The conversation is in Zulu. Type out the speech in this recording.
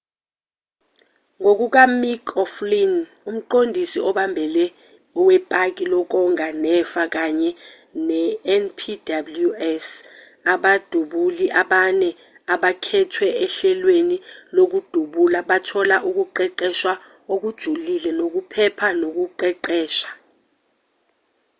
ngokukamick o'flynn umqondisi obambele wepaki lokonga nefa kanye nenpws abadubuli abane abakhethwe ohlelweni lokudubula bathola ukuqeqeshwa okujulile kokuphepha nokuqeqesha